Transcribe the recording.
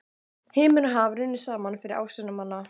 Himinn og haf runnu saman fyrir ásjónum manna.